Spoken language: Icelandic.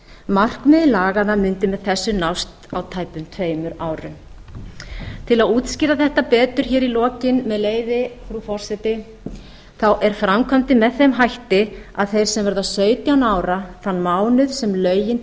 markmið laganna mundi með þessu nást á tæpum tveimur árum til að útskýra þetta betur í lokin með leyfi frú forseti þá er framkvæmdin með þeim hætti að þeir sem verða sautján ára þann mánuð sem lögin